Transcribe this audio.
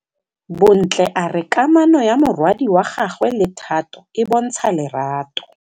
Bontle a re kamanô ya morwadi wa gagwe le Thato e bontsha lerato.